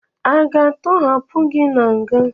A ga-atọhapụ gị na nga?